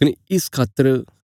कने इस खातर